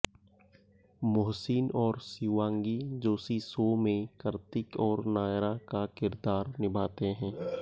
मोहसिन और शिवांगी जोशी शो में कार्तिक और नायरा का किरदार निभाते हैं